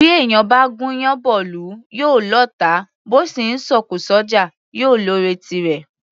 Bí èèyàn bá gún iyán bọ́ ìlú, yóò lọ́ọ̀tá; bó sì ńsọ òkò s’ọ́jà, yóò lọ́ọ̀rẹ́ tirẹ̀.